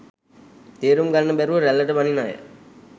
තේරුම් ගන්න බැරුව රැල්ලට බනින අය.